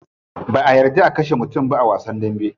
Ba'a yarda a kashe mutum ba a wasan dambe.